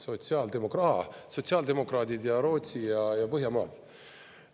Aa, sotsiaaldemokraadid ja Rootsi ja Põhjamaad.